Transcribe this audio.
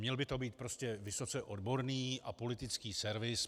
Měl by to být prostě vysoce odborný a politický servis.